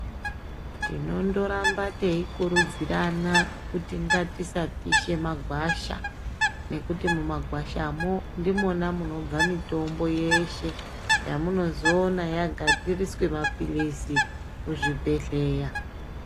Tinondoramba teikutidzirana kuti ngatisapishe magwasha nekuti mumagwasha mwo ndimwona munobve mitombo yeshe yamunozoone yagadziriswe mapilizi kuzvibhehleya.